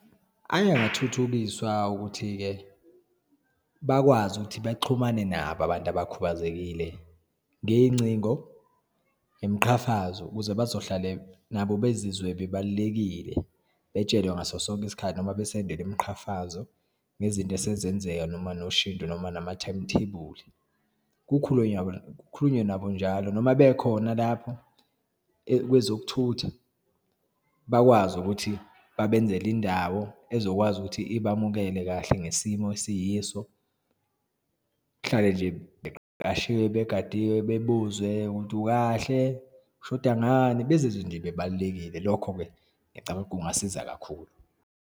Ayengathuthukiswa ukuthi-ke bakwazi ukuthi baxhumane nabo abantu abakhubazekile, ngeyincingo nemiqhafazo ukuze bazohlale nabo bezizwe bebalulekile, betshelwe ngaso sonke isikhathi, noma besendelwe imiqhafazo ngezinto esezenzeka, noma noshintsho, noma nama-timetable. Kukhulunywe yabo, kukhulunywe nabo njalo noma bekhona lapho kwezokuthutha bakwazi ukuthi babenzela indawo ezokwazi ukuthi ibamukele kahle ngesimo esiyiso, kuhlale nje begadiwe, bebuzwe ukuthi, ukahle, ushoda ngani, bezizwe bebalulekile. Lokho-ke ngicabanga kungasiza kakhulu.